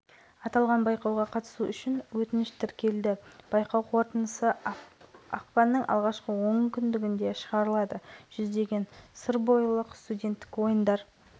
естеріңізге сала кететін болсақ жылдың желтоқсанда астананың туристік символы бойынша концептуалдық дизайнерлік шешімдерді табу мақсатында үздік